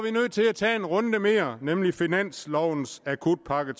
til at tage en runde mere nemlig finanslovens akutpakke